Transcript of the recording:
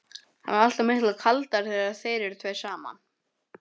Hann er alltaf miklu kaldari þegar þeir eru tveir saman.